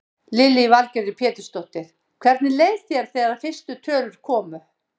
Lillý Valgerður Pétursdóttir: Hvernig leið þér þegar fyrstu tölur komu?